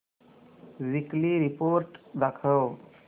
weekly report दाखव